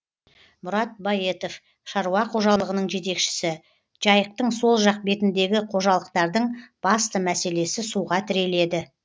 мұрат баетов шаруа қожалығының жетекшісі жайықтың сол жақ бетіндегі қожалықтардың басты мәселесі суға тіреледі